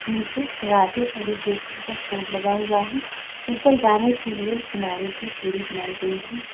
नीचे राधे एरिगेशन का फोर्ड लगा हुआ है ऊपर जाने के लिए किनारे से सीढ़ी बनाई गई है।